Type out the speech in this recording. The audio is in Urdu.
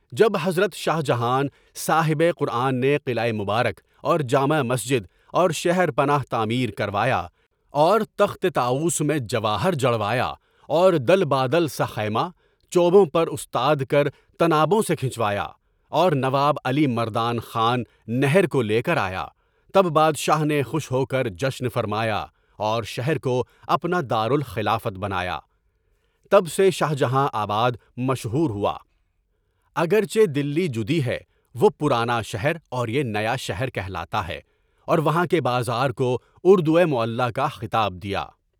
جب حضرت شاہ جہاں، صاحب قرآن نے قلعہ مبارک اور جامع مسجد اور شہر پنا تعمیر کروایا اور تخت طاؤس میں جواہر جڑوایا اور دل بادل سا خما، چوبوں پر استاد کر، طنابوں سے کھچوایا اور نواب علی مردان خان نہر کو لے کر آیا، تب بادشاہ نے خوش ہو کر جشن فرمایا اور شہر کو اپنا دارالخلافت بنایا، تب سے شاہ جہاں آباد مشہور ہوا (اگرچہ دلی جُدّی ہے، وہ پرانا شہر اور یہ نیا شہر کہلاتا ہے) اور وہاں کے بازار کو اردوئے معلیٰ خطاب دیا۔